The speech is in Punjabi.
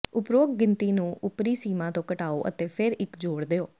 ਉਪਰੋਕਤ ਗਿਣਤੀ ਨੂੰ ਉੱਪਰੀ ਸੀਮਾ ਤੋਂ ਘਟਾਓ ਅਤੇ ਫਿਰ ਇੱਕ ਜੋੜ ਦਿਉ